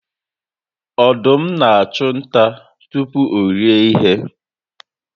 Ọdụm n'achụ nta tupu orie ihe